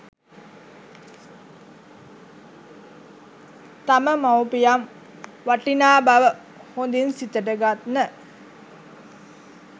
තම මවුපියන් වටිනා බව හොඳින් සිතට ගන්න